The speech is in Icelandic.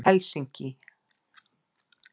Helsinki